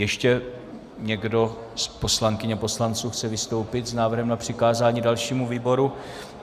Ještě někdo z poslankyň a poslanců chce vystoupit s návrhem na přikázání dalšímu výboru?